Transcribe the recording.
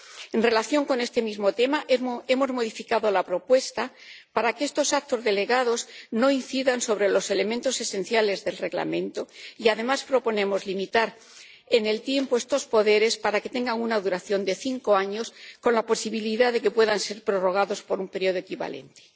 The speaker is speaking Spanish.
En relación con este mismo tema, hemos modificado la propuesta para que estos actos delegados no incidan sobre los elementos esenciales del Reglamento y, además, proponemos limitar en el tiempo estos poderes para que tengan una duración de cinco años con la posibilidad de que puedan ser prorrogados por un periodo equivalente.